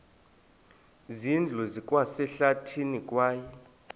zindlu zikwasehlathini kwaye